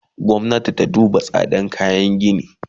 Gwamnati ta duba tsadan kayan gini!